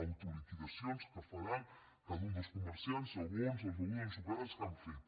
autoliquidacions que faran cada un dels comerciants segons les begudes ensucrades que han fet